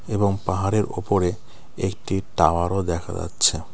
এবং পাহাড়ের ওপরে একটি টাওয়ারও দেখা যাচ্ছে .